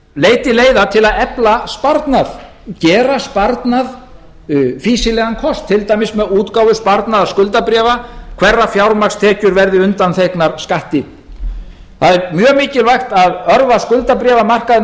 leiti leiða til að efla sparnað gera sparnað fýsilegan kost til dæmis með útgáfu sparnaðarskuldabréfa hverra fjármagnstekjur verði undanþegnar skatti það er mjög mikilvægt að örva skuldabréfamarkaðinn